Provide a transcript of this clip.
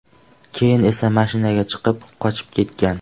Keyin esa mashinaga chiqib, qochib ketgan.